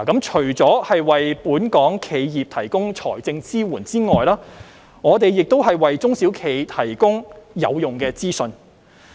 除了為本港企業提供財政支援外，我們亦為中小企提供有用的資訊。